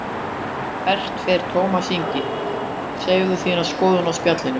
Hvert fer Tómas Ingi, segðu þína skoðun á Spjallinu